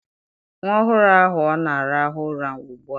Nwa ọhụrụ ahụ ọ na-arahụ ụra ugbu a?